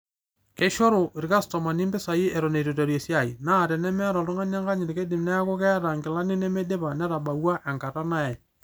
Keishoru ilkastomani impisai eton itu eiteru esiai, naa tenemeeta oltugani enkanyit keidim neaku keeta inkilani nemeidipa netabawua enkata nayae